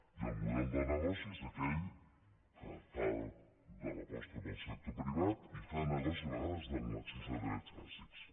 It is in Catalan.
i el model de negoci és aquell que fa l’aposta per sector privat i fa negoci a vegades en l’accés dels drets bàsics